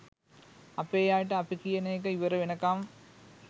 අපේ අයටඅපි කියන එක ඉවර වෙනකම්